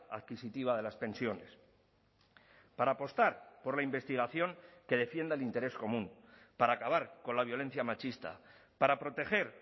adquisitiva de las pensiones para apostar por la investigación que defienda el interés común para acabar con la violencia machista para proteger